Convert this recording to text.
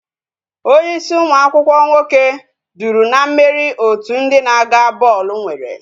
Onye ịsị ụmụ akwụkwọ nwoke duru na mmeri otu ndị na-aga bọọlụ nwere